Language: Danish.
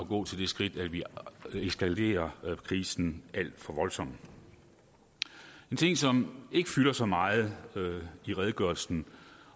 gå til det skridt at vi eskalerer krisen alt for voldsomt en ting som ikke fylder så meget i redegørelsen